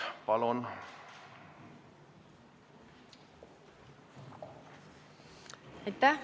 Palun!